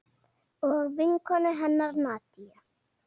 Og vinkonu hennar Nadiu.